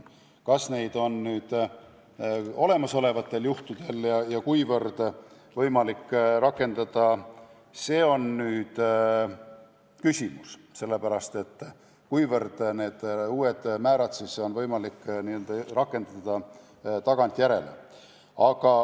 Kas ja kuivõrd on neid võimalik rakendada olemasolevatel juhtudel, see on nüüd küsimus, just see, kuivõrd neid uusi määrasid on võimalik n-ö rakendada tagantjärele.